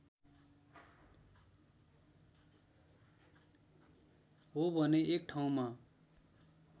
हो भने एक ठाउँमा